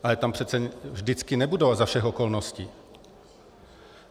Ale tam přece vždycky nebudou, a za všech okolností.